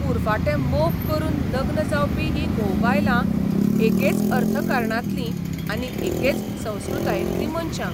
उरफाटें मोग करून लग्न जावपी हीं घोव बायलां एकेच अर्थकारणांतलीं आनी एकेच संस्कृतायेंतलीं मनशां.